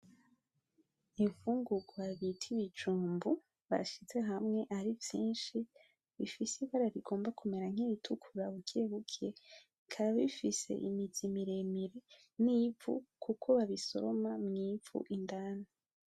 Imfungurwa bita ibijumbu, bashize hamwe ari vyinshi bifise ibara rigomba kumera nkiritukura bukebuke, bikaba bifise imizi miremire n'ivu kuko babisoroma mw'ivu indani.